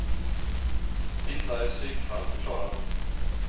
Vissa är psykfall, förklarar hon.